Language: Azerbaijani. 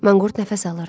Manqurt nəfəs alırdı.